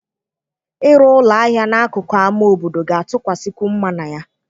Ịrụ ụlọ ahịa n'akụkụ ámá obodo ga-atụkwasịkwu mma na ya.